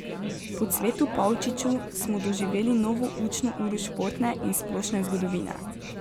Po Cvetu Pavčiču smo doživeli novo učno uro športne in splošne zgodovine.